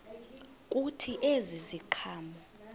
kuthi ezi ziqhamo